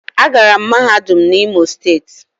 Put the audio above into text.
Agara m mahadum na imo steeti